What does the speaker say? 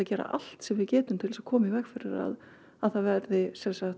gera allt sem við getum til að koma í veg fyrir að að það verði